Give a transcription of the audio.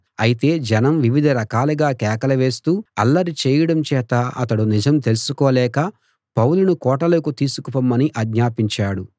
అయితే జనం వివిధ రకాలుగా కేకలు వేస్తూ అల్లరి చేయడం చేత అతడు నిజం తెలుసుకోలేక పౌలును కోటలోకి తీసుకుపొమ్మని ఆజ్ఞాపించాడు